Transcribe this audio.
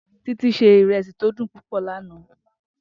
Titi se iresi to dun pupo lana.